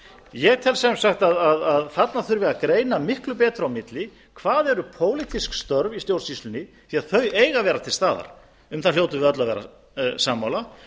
ég tel sem sagt að þarna þurfi að greina miklu betur á milli hvað eru pólitísk störf í stjórnsýslunni því að þau eiga að vera til staðar um það hljótum við öll að vera sammála